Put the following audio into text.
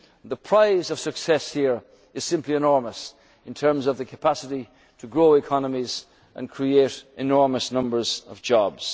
other global players. The prize of success here is simply enormous in terms of the capacity to grow economies and create enormous